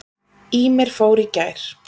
Ýmir fór í gær.